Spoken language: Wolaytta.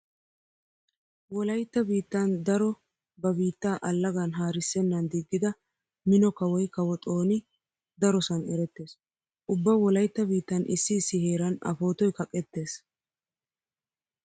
Wolaytta biittan daro ba biittaa allagan haarissennan diggida mino kawoy kawo xooni darosan erettees. Ubba wolaytta biittan issi issi heeran a pootoy kaqettees.